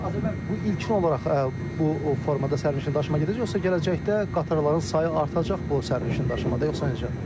Azər müəllim, bu ilkin olaraq bu formada sərnişin daşıma gedəcək, yoxsa gələcəkdə qatarların sayı artacaq bu sərnişin daşımada, yoxsa necə?